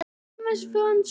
Tugir létust í eldsvoða